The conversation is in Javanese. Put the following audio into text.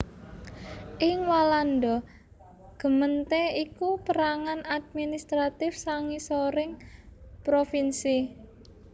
Ing Walanda gemeente iku pérangan administratif sangisoring provinsi